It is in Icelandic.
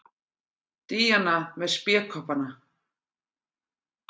Díana með spékoppana.